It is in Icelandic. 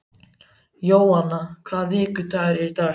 Jóanna, hvaða vikudagur er í dag?